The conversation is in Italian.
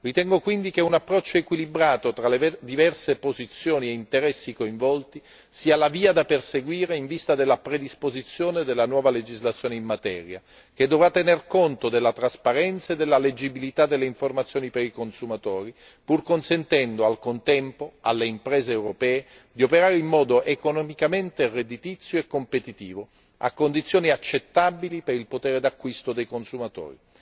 Ritengo quindi che un approccio equilibrato tra le diverse posizioni e interessi coinvolti sia la via da perseguire in vista della predisposizione della nuova legislazione in materia, che dovrà tenere conto della trasparenza e della leggibilità delle informazioni per i consumatori, pur consentendo al contempo alle imprese europee di operare in modo economicamente redditizio e competitivo, a condizioni accettabili per il potere d'acquisto dei consumatori.